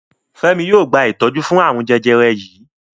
Femi yóò gba itọju fún arun jẹjẹrẹ yí.